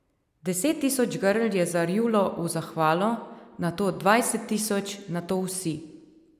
Deset tisoč grl je zarjulo v zahvalo, nato dvajset tisoč, nato vsi.